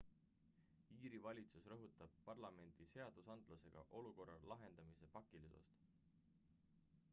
iiri valitsus rõhutab parlamendi seadusandlusega olukorra lahendamise pakilisust